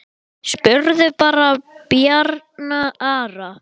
Spurðu bara Bjarna Ara!